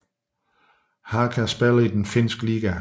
Haka spiller i den finske liga